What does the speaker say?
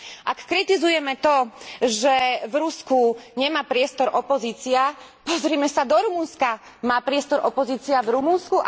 Ak kritizujeme to, že v Rusku nemá priestor opozícia, pozrime sa do Rumunska, má priestor opozícia v Rumunsku?